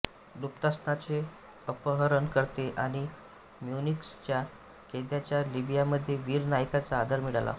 लुफ्तान्साचे अपहरणकर्ते आणि म्युनिचच्या कैद्यांचा लिबियामध्ये वीर नायकांचा आदर मिळाला